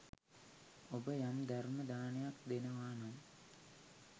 ඔබ යම් ධර්ම දානයක් දෙනවානම්